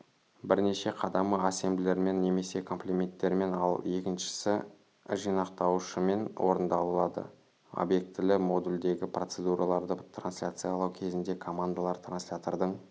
бірінші қадамы ассемблермен немесе комплименттермен ал екіншісі жинақтаушымен орындалады обьектілі модульдегі процедураларды трансляциялау кезінде командалар транслятордың